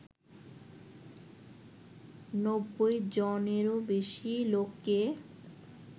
নব্বই জনেরও বেশি লোককে